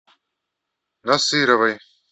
насыровой